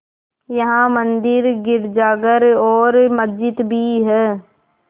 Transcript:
यहाँ मंदिर गिरजाघर और मस्जिद भी हैं